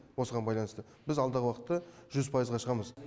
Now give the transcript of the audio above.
осыған байланысты біз алдағы уақытта жүз пайызға шығамыз